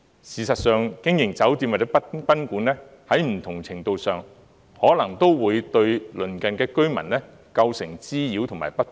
事實上，經營酒店或賓館，在不同程度上，可能都會對鄰近居民構成滋擾及不便。